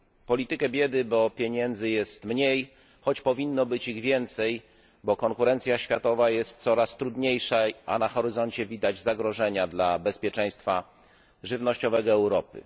Politykę biedy, bo pieniędzy jest mniej, choć powinno być ich więcej, bo konkurencja światowa coraz trudniejsza, a na horyzoncie widać zagrożenia dla bezpieczeństwa żywnościowego Europy.